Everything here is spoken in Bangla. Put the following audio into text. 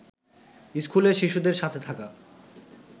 স্কুলের শিশুদের সাথে থাকা